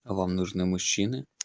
а вам нужны мужчины